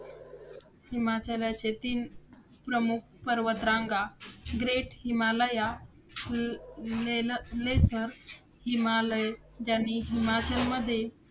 हिमाचलाचे तीन प्रमुख पर्वतरांगा ग्रेट हिमालया, ज्यांनी हिमाचलमध्ये